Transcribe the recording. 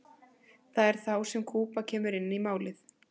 það er þá sem kúba kemur inn í málið